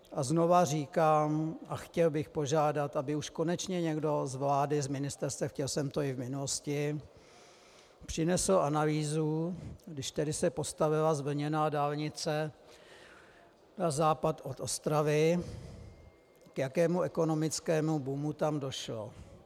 A znova říkám a chtěl bych požádat, aby už konečně někdo z vlády, z ministerstev, chtěl jsem to i v minulosti, přinesl analýzu, když tedy se postavila zvlněná dálnice na západ od Ostravy, k jakému ekonomickému boomu tam došlo.